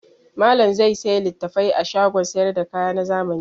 Malam zai sayi littafai a shagon sayar da kaya na zamani.